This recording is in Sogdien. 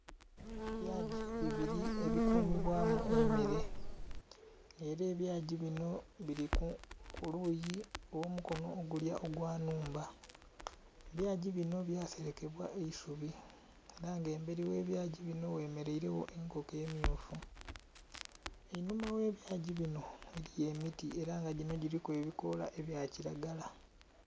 Ebyagi bibili ebikumibwamu emmere, ela ebyagi bino bili ku luuyi olw'omukono ogulya ogw'ennhumba. Ebyagi bino byaserekebwa eisubi ela nga embeli ogh'ebyagi bino ghemeleire enkoko emmyufu. Einhuma ogh'ebyagi bino eliyo emiti ela nga gino giliku ebikoola ebya kilagala.